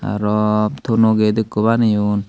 araw tono get ekko baneyon.